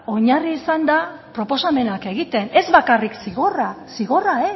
oinarri izanda proposamenak egiten ez bakarrik zigorrak zigorra